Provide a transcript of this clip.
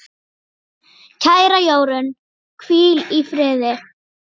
Kæra Jórunn, hvíl í friði.